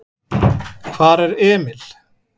Hvar er Emil?